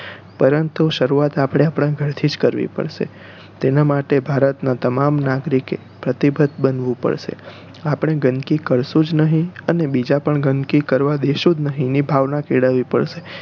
પરંતુ શરૂવાત આપણે આપણાં ઘરથી જ કરવી પડશે તેના માટે ભારત નાં તમામ નાગરિકે પ્રતિબદ્ધ બનવું પડશે આપણે ગંદકી કરશુ જ નહિ અને બીજાને પણ ગંદકી કરવા દેશું જ નહિ એવી ભાવના કેળવવી પડશે